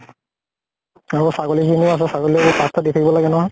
আৰু ছাগলী খিনিও আছে, ছাগলীক পাত চাত দি থাকিব লাগে নহয়।